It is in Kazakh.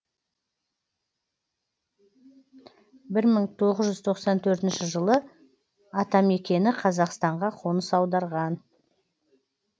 бір мың тоғыз жүз тоқсан төртінші жылы атамекені қазақстанға қоныс аударған